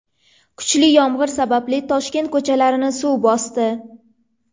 Kuchli yomg‘ir sababli Toshkent ko‘chalarini suv bosdi .